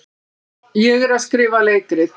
Ég er að skrifa leikrit.